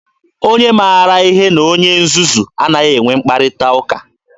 Onye maara ihe na onye nzuzu anaghị enwe mkparịta ụka.